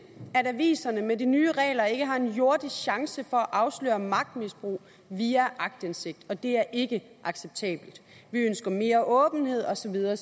at aviserne med de nye regler ikke har en jordisk chance for at afsløre magtmisbrug via aktindsigt og det er ikke acceptabelt vi ønsker mere åbenhed og så videre